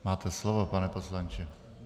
Máte slovo, pane poslanče.